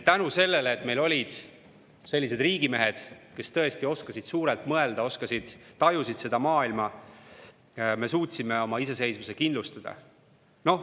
Tänu sellele, et meil olid sellised riigimehed, kes tõesti oskasid suurelt mõelda, tajusid seda maailma, suutsime me oma iseseisvuse kindlustada.